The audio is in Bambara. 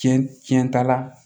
Tiɲɛ tiɲɛ t'a la